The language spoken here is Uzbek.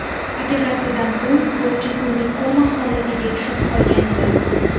Operatsiyadan so‘ng sportchi sun’iy koma holatiga tushib qolgandi.